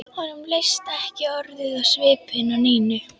Honum leist ekki orðið á svipinn á Nínu.